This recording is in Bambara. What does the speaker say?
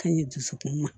Ka ɲi dusukun ma